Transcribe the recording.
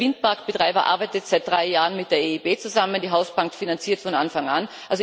Dieser Windparkbetreiber arbeitet seit drei Jahren mit der EIB zusammen, die Hausbank finanziert von Anfang an.